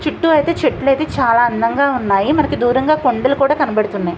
చుట్టు ఐతే చెట్లు ఐతే చాలా అందంగా ఉనాయి మనకు దూరంగా కొండలు కూడా కనబడుతున్నాయి.